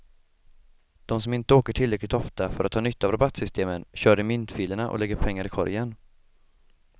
De som inte åker tillräckligt ofta för att ha nytta av rabattsystemen kör i myntfilerna och lägger pengar i korgen.